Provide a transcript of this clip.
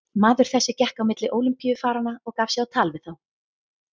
Maður þessi gekk á milli Ólympíufaranna og gaf sig á tal við þá.